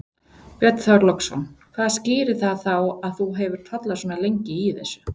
Björn Þorláksson: Hvað skýrir það þá að þú hefur tollað svona lengi í þessu?